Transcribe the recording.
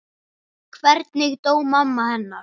Hvernig dó mamma hennar?